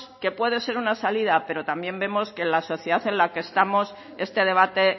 que puede ser una salida pero también vemos que en la sociedad en la que estamos este debate